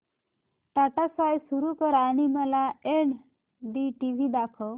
Tata sky सुरू कर आणि मला एनडीटीव्ही दाखव